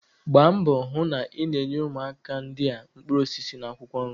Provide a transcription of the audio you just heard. Gbaa mbọ hụ na ị na-enye ụmụaka ndị a mkpụrụ osisi na akwụkwọ nri